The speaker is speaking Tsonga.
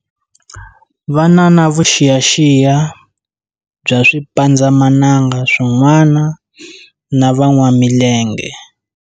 Va na na vuxiyaxiya bya swipandzamananga swin'wana na van'wamilenge.